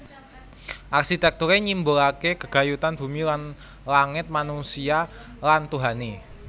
Arsitekture nyimbolake gegayutane bumi lan langit manusia lan Tuhane